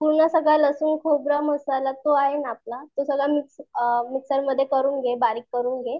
पूर्ण सगळं लसूण खोबर मसाला जोआहे ना आपला तो सगळा मिक्स मिक्सर मध्ये करून घे बारीक करून घे.